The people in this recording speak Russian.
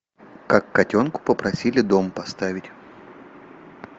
как котенку попросили дом поставить